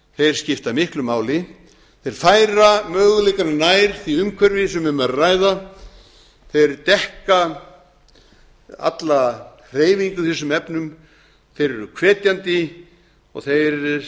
þeir skipta miklu máli þeir færa möguleikana nær ári umhverfi sem um er að ræða þeir dekka alla hreyfingu í þessum efnum þeir eru hvetjandi og þeir